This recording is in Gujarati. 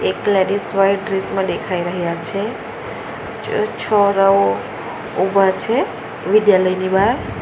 એક લેડીઝ વાઈટ ડ્રેસ માં દેખાઈ રહ્યા છે ચ છોરાવો ઉભા છે વિદ્યાલયની બહાર.